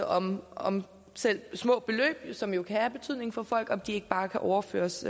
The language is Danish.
om om selv små beløb som jo kan have betydning for folk ikke bare kan overføres